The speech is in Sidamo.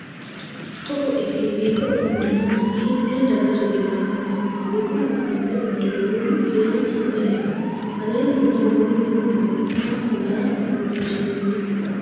togo ikke biife ofollino manni hiitee daga riqiwannoho? budu uduunne uddirinohu kiironsa me"eho? aleenninna woroonni noo borro maa kullara borreessinoonnite?